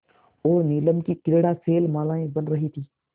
और नीलम की क्रीड़ा शैलमालाएँ बन रही थीं